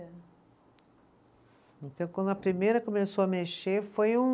Então, quando a primeira começou a mexer, foi um